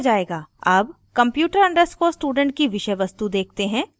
अब computer _ student की विषय वस्तु देखते हैं